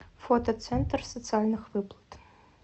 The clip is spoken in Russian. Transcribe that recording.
фото центр социальных выплат